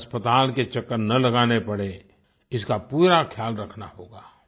हमें अस्पताल के चक्कर न लगाने पड़ें इसका पूरा ख्याल रखना होगा